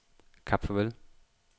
Kap Farvel